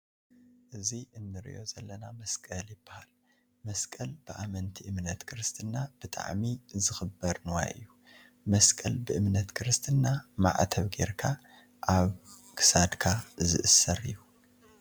እዚ እንርእዮ ዘለና መስቀል ይባሃል። መስቀል ብ ኣመንቲ እምነት ክርስትና ብጣዕሚ ዝክበር ንዋይ እዩ። መስቀል ብእምነት ክርስትና ማዕተብ ገይርካ ኣብ ክሳድካ ዝእሰር እዩ።